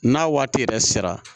N'a waati yɛrɛ sera